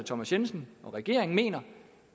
thomas jensen og regeringen mener